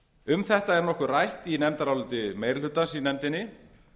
um þetta er nokkuð um það rætt í nefndaráliti meiri hlutans í nefndinni